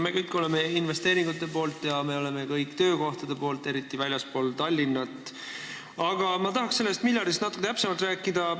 Me kõik oleme investeeringute poolt ja me kõik oleme töökohtade poolt, eriti väljaspool Tallinna, aga ma tahaksin sellest miljardist natuke täpsemalt rääkida.